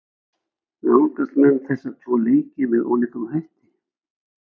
Nálgast menn þessa tvo leiki með ólíkum hætti?